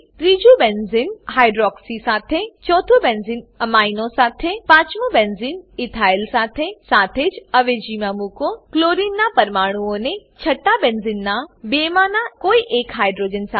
ત્રીજું benzene hydroxy hydroxy સાથે ચોથું બેન્ઝીન અમીનો અમીનો સાથે પાંચમું બેન્ઝીન ઇથાઇલ ઈથાઈલ સાથે સાથે જ અવેજીમાં મુકો ક્લોરિનનાં પરમાણુંઓને છઠ્ઠા બેન્ઝીનનાં બેમાંનાં કોઈ એક હાઇડ્રોજન સાથે